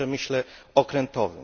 w przemyśle okrętowym.